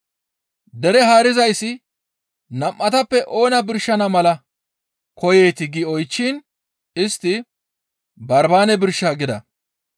Dere haarizayssi, «Nam7atappe oona birshana mala koyeetii?» gi oychchiin istti, «Barbaane birsha!» gida.